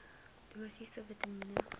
dosisse vitamien